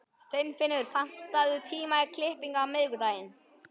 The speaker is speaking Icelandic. Steinfinnur, pantaðu tíma í klippingu á miðvikudaginn.